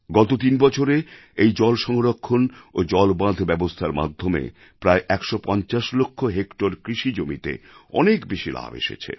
গত তিন বছরে এই জলসংরক্ষণ ও জলবাঁধ ব্যবস্থার মাধ্যমে প্রায় ১৫০ লাখ হেক্টর কৃষিজমিতে অনেক বেশি লাভ এসেছে